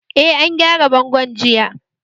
Eh, an gyara bangon jiya